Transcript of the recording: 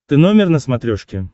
ты номер на смотрешке